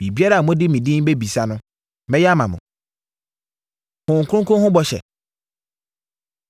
Biribiara a mode me din bɛbisa no, mɛyɛ ama mo.” Honhom Kronkron Ho Bɔhyɛ